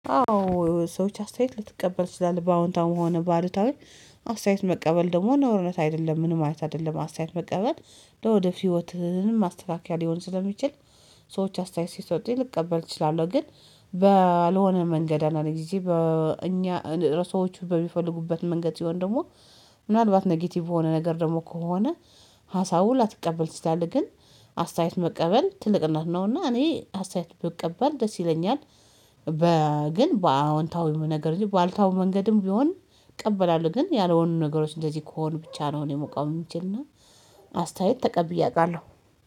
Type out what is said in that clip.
አዎ ሰዎች አስተያየት ልትቀበል ትችላለህ በአዎንታዊ መሆኑ ባሉታዊ። አስተያየት መቀበል ደግሞ ነውርነት አይደለም ምንም አይነት አይደለም አስተያየት መቀበል ለወደፊቱ ህይወትህ ማስተካከያ ሊሆን ስለሚችል ሰዎች አስተያየት ሲሰጡኝ ልቀበል ይችላል ግን በአልሆነ መንገድ አንዳንድ ጊዜ በእኛ ርሶዎች በሚፈልጉበት መንገድ ሲሆን ደግሞ ምናልባት ኔጌቲቭ የሆነ ነገር ደግሞ ከሆነ ሀሳቡን ላትቀበል ትችላለህግን አስተያየት መቀበል ትልቅነት ነውና እኔ አስተያየት ብትቀበል ደስ ይለኛል፤ በ ግን በአዎንታዊ ነገር እንጂ ባሉታዊ መንገድም ቢሆን እቀበላለሁ ግን ያልሆኑ ነገሮች እንደዚህ ከሆኑ ብቻ ነው እኔ መቃወም የሚችልና አስተያየት ተቀብዬ አውቃለሁ